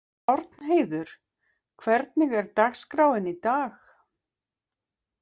Árnheiður, hvernig er dagskráin í dag?